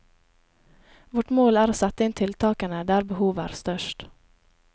Vårt mål er å sette inn tiltakene der behovet er størst.